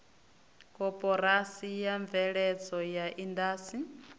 koporasi ya mveledzo ya indasi